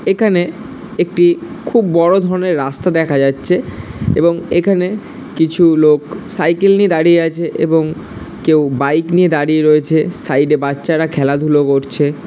এখানে একটি খুব বড় ধরনের রাস্তা দেখা যাচ্ছে এবং এখানে কিছু লোক সাইকেল নিয়ে দাঁড়িয়ে আছে এবং কেউ বাইক নিয়ে দাঁড়িয়ে রয়েছে। সাইডে -এ বাচ্চারা খেলাধুলা করছে।